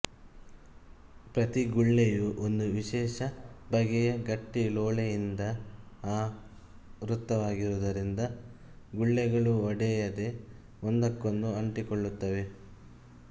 ಪ್ರತಿಗುಳ್ಳೆಯೂ ಒಂದು ವಿಶೇಷ ಬಗೆಯ ಗಟ್ಟಿಲೋಳೆಯಿಂದ ಆವೃತವಾಗಿರುವುದರಿಂದ ಗುಳ್ಳೆಗಳು ಒಡೆಯದೆ ಒಂದಕ್ಕೊಂದು ಅಂಟಿಕೊಳ್ಳುತ್ತವೆ